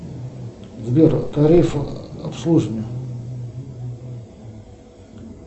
сбер тариф обслуживания